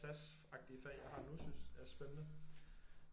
Sas agtige fag jeg har nu synes er spændende